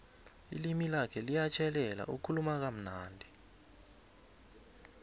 ilimi lakho liyatjhelela ukhuluma kamnandi